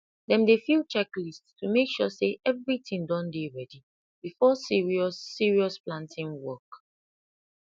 dem dey fill checklist to make sure say everything don ready before serious serious planting work